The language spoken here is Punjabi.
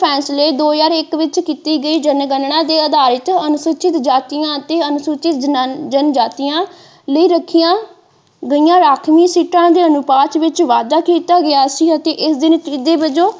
ਫੈਂਸਲੇ ਦੋ ਹਜ਼ਾਰ ਇੱਕ ਵਿੱਚ ਕੀਤੀ ਗਈ ਜਨਗਣਨਾ ਦੇ ਅਧਾਰ ਤੇ ਅਨੁਸੂਚਿਤ ਜਾਤੀਆਂ ਅਤੇ ਅਨੁਸੂਚਿਤ ਜਨਾਣ ਜਨਜਾਤੀਆਂ ਲਈ ਰੱਖੀਆਂ ਗਈਆਂ ਰਾਖਵੀਆਂ ਸੀਟਾਂ ਦੇ ਅਨੁਪਾਤ ਵਿੱਚ ਵਾਧਾ ਕੀਤਾ ਗਿਆ ਸੀ ਅਤੇ ਇਸ ਦੇ ਨਤੀਜੇ ਵਜੋਂ।